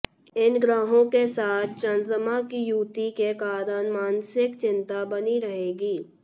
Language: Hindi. इन ग्रहों के साथ चंद्रमा की युति के कारण मानसिक चिंता बनी रहेगी